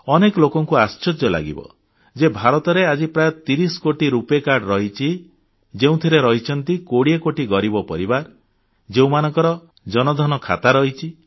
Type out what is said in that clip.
ଅନେକ ଲୋକଙ୍କୁ ଆଶ୍ଚର୍ଯ୍ୟ ଲାଗିବ ଯେ ଭାରତରେ ଆଜି ପ୍ରାୟ 30 କୋଟି ରୁପେ କାର୍ଡ ରହିଛି ଯେଉଁଥିରେ ରହିଛନ୍ତି 20 କୋଟି ଗରିବ ପରିବାର ଯେଉଁମାନଙ୍କର ଜନ ଧନ ଖାତା ରହିଛି